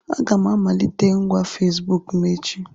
Aga m emelite ngwa Fesibuku m echi.